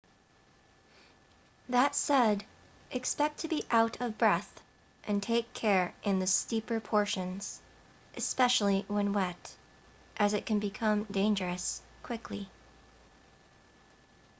that said expect to be out of breath and take care in the steeper portions especially when wet as it can become dangerous quickly